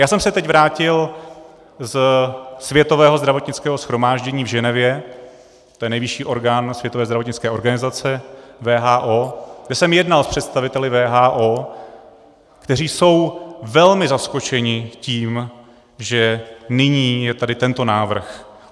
Já jsem se teď vrátil ze Světového zdravotnického shromáždění v Ženevě, to je nejvyšší orgán Světové zdravotnické organizace, WHO, kde jsem jednal s představiteli WHO, kteří jsou velmi zaskočeni tím, že nyní je tady tento návrh.